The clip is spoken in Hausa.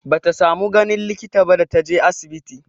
Bata samu ganin likita ba da ta je asibiti.